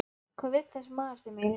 Hvað vill þessi maður þeim eiginlega?